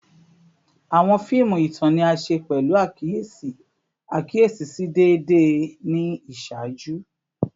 Awọn fiimu itan ni a ṣe pẹlu akiyesi akiyesi si deede ni iṣaaju